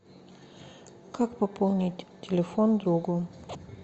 как пополнить телефон другу